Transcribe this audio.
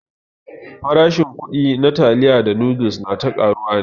Farashin kuɗi na taliya da noodles na ta ƙaruwa ne.